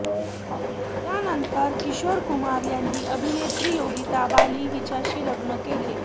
त्यानंतर किशोर कुमार यांनी अभिनेत्री योगिता बाली हिच्याशी लग्न केलं